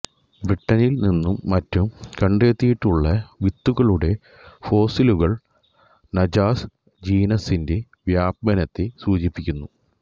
ബ്രിട്ടനിൽനിന്നും മറ്റും കണ്ടെത്തിയിട്ടുള്ള വിത്തുകളുടെ ഫോസിലുകൾ നാജാസ് ജീനസ്സിന്റെ വ്യാപനത്തെ സൂചിപ്പിക്കുന്നു